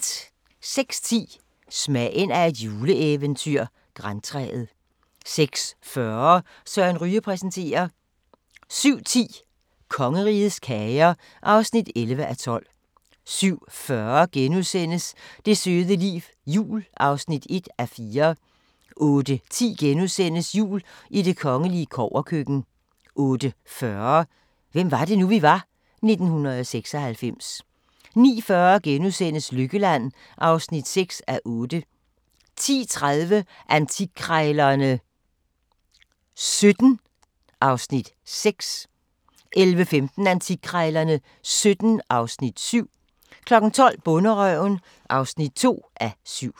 06:10: Smagen af et juleeventyr – Grantræet 06:40: Søren Ryge præsenterer 07:10: Kongerigets kager (11:12) 07:40: Det søde liv – jul (1:4)* 08:10: Jul i det kongelige kobberkøkken * 08:40: Hvem var det nu, vi var? – 1996 09:40: Lykkeland (6:8)* 10:30: Antikkrejlerne XVII (Afs. 6) 11:15: Antikkrejlerne XVII (Afs. 7) 12:00: Bonderøven (2:7)